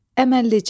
Əməlllicə.